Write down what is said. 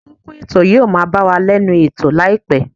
Atọ́kùn ètò yóò máa bá wa lẹ́nu ètò láìpẹ́